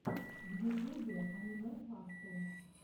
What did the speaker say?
в ютубе аниме фасту